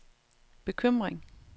bekymring